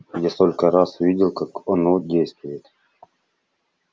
я столько раз видел как оно действует